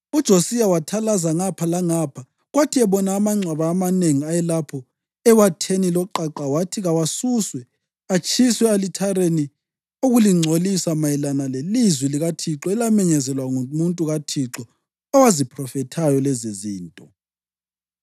UJosiya wathalaza ngapha langapha, kwathi ebona amangcwaba amanengi ayelapho ewatheni loqaqa wathi kawasuswe, atshiswe e-alithareni ukulingcolisa mayelana lelizwi likaThixo elamenyezelwa ngumuntu kaThixo owaziphrofethayo lezizinto.